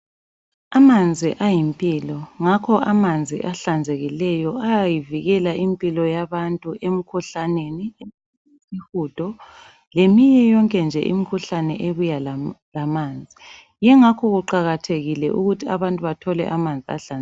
Amanzi ayimpilo. Ngakho amanzi ahlanzekileyo ayayivikela impilo yabantu emikhuhlaneni isihudo, leminye yonke nje imikhuhlane ebuya lamanzi. Yingakho kuqakathekile ukuthi abantu bathole amanzi ahlanzekileyo.